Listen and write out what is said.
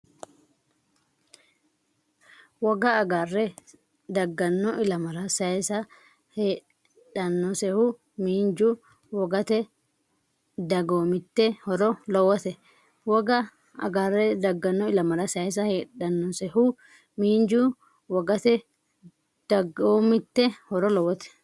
Woga agare dagganno ilamara sayisa heedhannosehu miinju, wogate, dagoomitte horo lowote Woga agare dagganno ilamara sayisa heedhannosehu miinju, wogate, dagoomitte horo lowote.